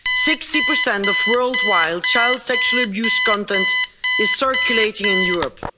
Sixty per cent of worldwide child sexual abuse content is circulating in Europe.